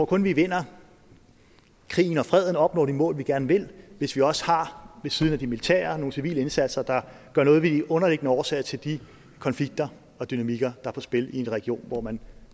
kun vi vinder krigen og freden og opnår de mål vi gerne vil hvis vi også ved siden af de militære indsatser har nogle civile indsatser der gør noget ved de underliggende årsager til de konflikter og dynamikker er på spil i en region hvor man